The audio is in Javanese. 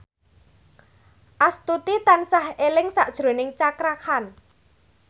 Astuti tansah eling sakjroning Cakra Khan